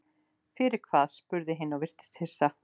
Fyrir hvað, spurði hin og virtist hissa.